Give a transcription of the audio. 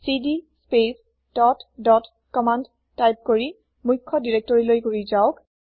CD space dot dot command type কৰি মূখ্য দিৰেক্তৰিলৈ ঘু্ৰি যাওক